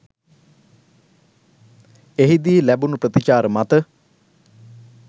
එහිදී ලැබුණු ප්‍රතිචාර මත